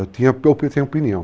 Eu tinha opinião.